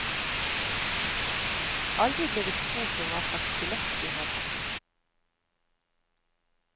Aldri ble vi spurt om hva slags billett vi hadde.